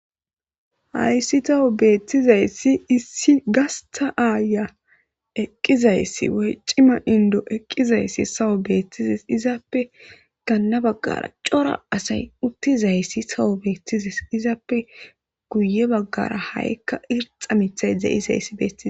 Hayssi tawu beetizayssi issi gastha aayiya eqqizayssi woy cima indo eqizayssi tawu beetides izappe ganna baggara cora asay uttizayssi tawu beetides izappe guyye baggara ha'ika irxxa mithtay dizayssi beetes.